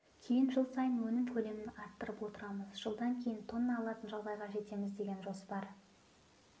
кейін жыл сайын өнім көлемін арттырып отырамыз жылдан кейін тонна алатын жағдайға жетеміз деген жоспар